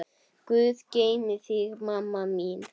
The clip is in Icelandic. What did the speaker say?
Guð geymi þig, mamma mín.